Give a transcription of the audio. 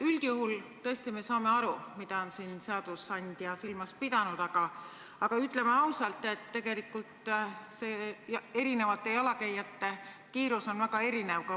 Üldjuhul me tõesti saame aru, mida on seadusandja siin silmas pidanud, aga ütleme ausalt, et tegelikult on jalakäijate kiirus väga erinev.